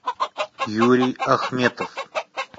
юрий ахметов